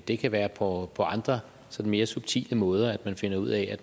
det kan være på andre mere subtile måder begge finder ud af